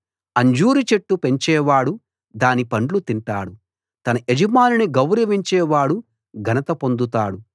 అంజూరు చెట్టు పెంచేవాడు దాని పండ్లు తింటాడు తన యజమానిని గౌరవించే వాడు ఘనత పొందుతాడు